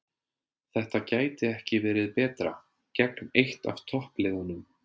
Þetta gæti ekki verið betra, gegn eitt af toppliðunum